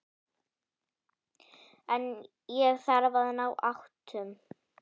En ég þarf að ná áttum.